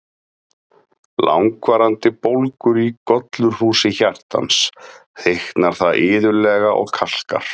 Við langvarandi bólgur í gollurhúsi hjartans, þykknar það iðulega og kalkar.